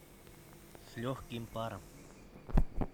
с легким паром